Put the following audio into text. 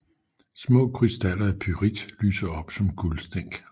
Små krystaller af pyrit lyser op som guldstænk